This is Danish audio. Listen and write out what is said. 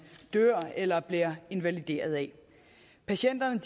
dør eller bliver invalideret af patienterne